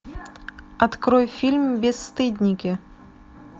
открой фильм бесстыдники